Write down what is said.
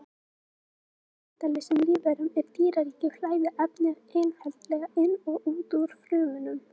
Hjá hjartalausum lífverum í dýraríkinu flæða efni einfaldlega inn og út úr frumunum.